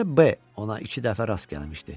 Bircə B ona iki dəfə rast gəlmişdi.